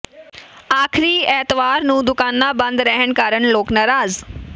ਆਖਰੀ ਐਤਵਾਰ ਨੂੰ ਦੁਕਾਨਾਂ ਬੰਦ ਰਹਿਣ ਕਾਰਨ ਲੋਕ ਨਾਰਾਜ਼